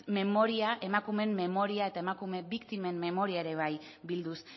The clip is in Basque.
emakumeen memoria eta emakume biktimen memoria ere bai bilduz